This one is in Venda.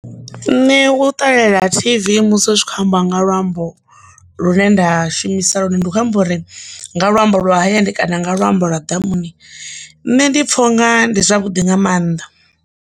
Nṋe u ṱalela tv musi u tshi kho ambiwa nga luambo lu ne nda shumisa ḽone ndi khou amba uri nga luambo lwa hayani kana nga luambo lwa ḓamuni nne ndi pfha u nga ndi zwavhuḓi nga maanḓa.